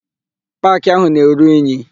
Paakị áhù na-eru inyi.